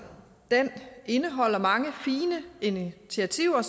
den indeholder mange fine initiativer